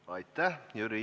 Aitäh!